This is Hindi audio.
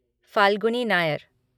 फ़ाल्गुनी नायर